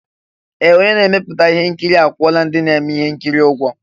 Ee! Onye na-emepụta ihe nkiri akwụọla ndị na-eme ihe nkiri ụgwọ.